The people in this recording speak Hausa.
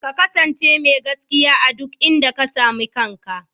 Ka kasance mai gaskiya a duk inda ka sami kanka.